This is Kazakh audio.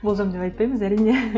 болжам деп айтпаймыз әрине